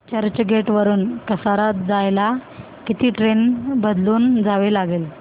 चर्चगेट वरून कसारा जायला किती ट्रेन बदलून जावे लागेल